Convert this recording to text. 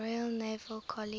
royal naval college